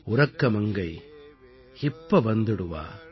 உறக்க மங்கை இப்ப வந்துடுவா